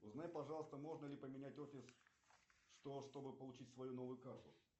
узнай пожалуйста можно ли поменять офис чтобы получить свою новую карту